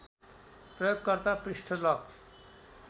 प्रयोगकर्ता पृष्ठ लक